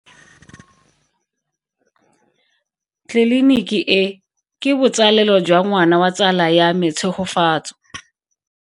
Tleliniki e, ke botsalelo jwa ngwana wa tsala ya me Tshegofatso.